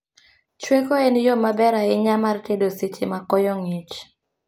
Chweko en yoo maber ahinya mar tedo seche ma koyo ng'ich